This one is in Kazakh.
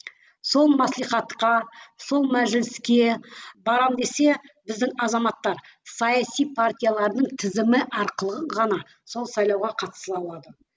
сол маслихатқа сол мәжіліске барамын десе біздің азаматтар саяси партиялардың тізімі арқылы ғана сол сайлауға қатыса алады